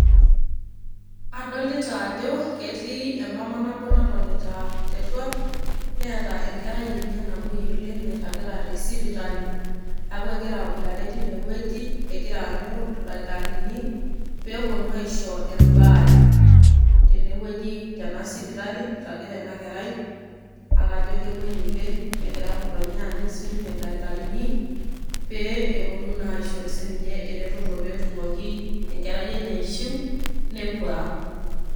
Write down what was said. Adolita ajo etii emama nabo natonita teruar, neeta enkerai enye namuoi oleng' nairagita te sipitali neeku egira aboitare tine wueji egira aanyu ildakitarini pee eponu aisho embaare tene wueji tena sipitali iragita ina kerai ake ajo kemuoi oleng' egira ng'otonye aanyu sininye ildakitarini pee eponu naa aisho sininye eretoto pee etumoki enkerai enye aishiu nepuo ang'.